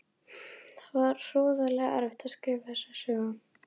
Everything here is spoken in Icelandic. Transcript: Það var hroðalega erfitt að skrifa þessa sögu.